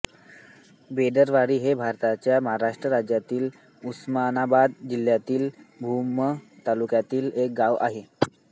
बेदरवाडी हे भारताच्या महाराष्ट्र राज्यातील उस्मानाबाद जिल्ह्यातील भूम तालुक्यातील एक गाव आहे